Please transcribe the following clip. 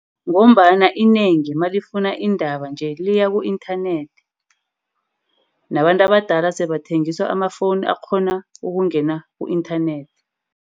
Ngombana inengi malifuna iindaba nje liya ku-inthanethi. Nabantu abadala sebathengiswa ama-phone akghona ukungena ku-inthanethi.